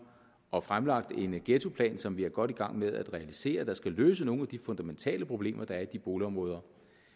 og fremlagt en ghettoplan som vi er godt i gang med at realisere der skal løse nogle af de fundamentale problemer der er i de boligområder